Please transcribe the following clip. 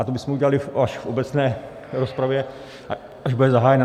Ale to bychom udělali až v obecné rozpravě, až bude zahájena.